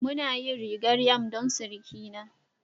Muna yin rigar yam don surukina